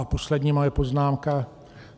A poslední moje poznámka.